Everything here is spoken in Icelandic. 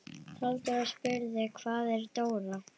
Halldór spurði: Hvar er Dóra?